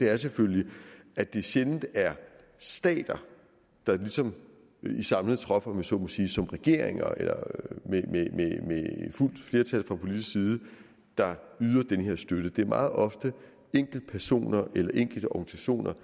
er selvfølgelig at det sjældent er stater der ligesom i samlet trop om jeg så må sige som regeringer med fuldt flertal fra politisk side yder den her støtte det er meget ofte enkeltpersoner eller enkelte organisationer